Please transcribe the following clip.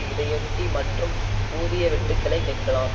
இதையொட்டி மற்றும் ஊதிய வெட்டுக்களை கேட்கலாம்